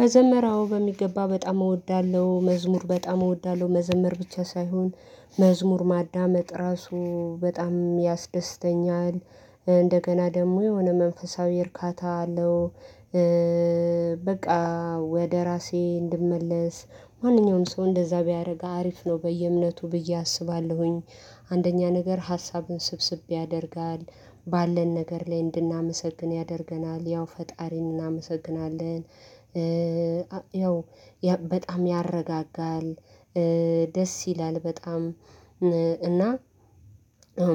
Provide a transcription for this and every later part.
መዘመረ አዎ በሚገባ በጣም እወዳለሁ መዝሙር በጣም እወዳለሁ መዘመር ብቻ ሳይሆን መዝሙር ማዳመጥ ራሱ በጣም ያስደስተኛል። እንደገና ደግሞ የሆነ መንፈሳዊ እርካታ አለው፤ በቃ ወደ ራሴ እንድመለስ ማንኛውም ሰው እንደዛ ቢያደርግ አሪፍ ነው በየእምነቱ ብዬ አስባለሁኝ። አንደኛ ነገር ሀሳብን ስብስብ ያደርጋል ባለን ነገር ላይ እንድናመሰግን ያደርገናል ያው ፈጣሪን እናመሰግናለን። ያው በጣም ያረጋጋል ደስ ይላል በጣም እና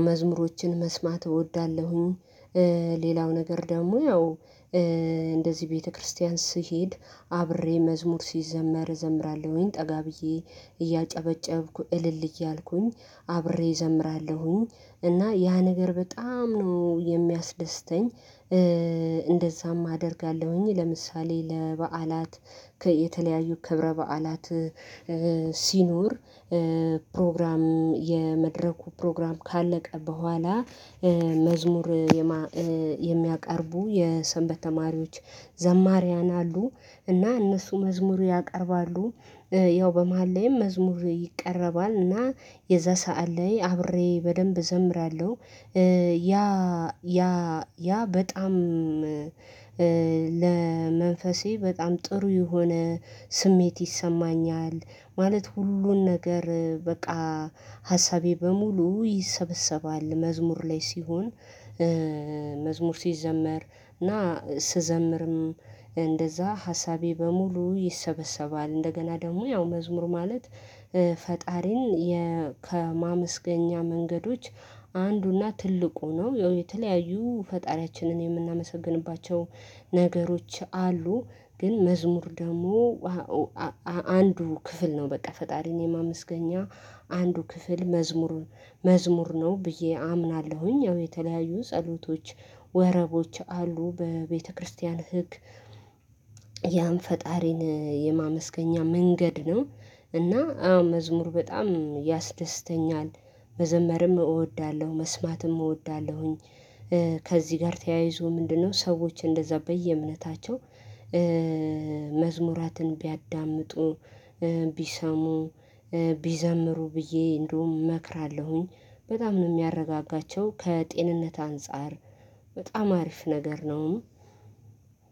መዝሙሮችን መስማት እወዳለሁኝ። ሌላው ነገር ደግሞ ያው እንደዚህ ቤተክርስቲያን ስሄድ አብሬ መዝሙር ሲዘመር እዘምራለሁኝ ጠጋ ብዬ፤ እያጨበጨብኩ እልል እያልኩኝ አብሬ እዘምራለሁኝ እና ያ ነገር በጣም ነው የሚያስደስተኝ፤። እንደዛም አደርጋለሁኝ ለምሳሌ ለበዓላት ከየተለያዩ ክብረ በዓላት ሲኖር ፕሮግራም የመድረኩ ፕሮግራም ካለቀ በኋላ መዝሙር የሚያቀርቡ የሰንበት ተማሪዎች ዘማሪያን አሉ እና እነሱ መዝሙሩ ያቀርባሉ ያው በመሃል ላይም መዝሙር ይቀረባል እና የዛ ሰዓት ላይ አብሬ በደንብ እዘምራለሁ፤። ያ በጣም ለመንፈሴ በጣም ጥሩ የሆነ ስሜት ይሰማኛል ማለት ሁሉን ነገር በቃ ሀሳቤ በሙሉ ይሰበሰባል መዝሙር ላይ ሲሆን። መዝሙር ሲዘመር እና ስዘምርም እንደዛ ሀሳቤ በሙሉ ይሰበሰባል እንደገና ደግሞ ያው መዝሙር ማለት ፈጣሪን፤ ከማመስገኛ መንገዶች አንዱና ትልቁ ነው። የተለያዩ ፈጣሪያችንን የምናመሰግንባቸው ነገሮች አሉ፤። ግን መዝሙር ደግሞ አንዱ ክፍል ነው በቃ ፈጣሪን የማመስገኛ አንዱ ክፍል መዝሙር መዝሙር ነው ብዬ አምናለሁኝ። ያው የተለያዩ ጸሎቶች ወረቦች አሉ በቤተክርስቲያን ህግ ያን ፈጣሪን የማመስገኛ መንገድ ነው እና አዎ መዝሙር በጣም ያስደስተኛል። መዘመርም እወዳለሁ መስማትም እወዳለሁኝ ከዚህ ጋር ተያይዞ ምንድነው? ሰዎች እንደዛ በየእምነታቸው መዝሙራትን ቢያዳምጡ ቢሰሙ ቢዘምሩ ብዬ እንደውም እመክራለሁኝ በጣም ነው የሚያረጋጋቸው ከጤንነት አንፃር በጣም አሪፍ ነገር ነውም፤።